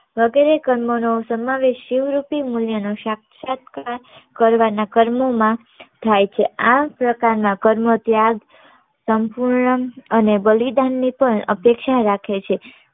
વગેરે કર્મ નો સમાવેશ શીવ્વૃતી મુલ્ય નો શાક્ષાત કાલ કરવ ના કર્મો માં થાય છે આ પ્રકાર ના કર્મ ત્યાં સંપૂર્ણ અને બલિદાન ની પણ અપેક્ષા રાખે છે